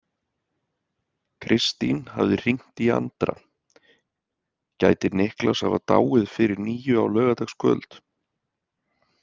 Kristín hafði hringt í Andra: Gæti Niklas hafa dáið fyrir níu á laugardagskvöld?